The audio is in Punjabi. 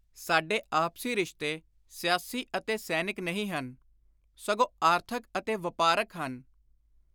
“ਸਾਡੇ ਆਪਸੀ ਰਿਸ਼ਤੇ ਸਿਆਸੀ ਅਤੇ ਸੈਨਿਕ ਨਹੀਂ ਹਨ, ਸਗੋਂ ਆਰਥਕ ਅਤੇ ਵਾਪਾਰਕ ਹਨ।